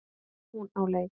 Hún á leik.